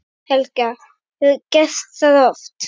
Helga: Hefurðu gert það oft?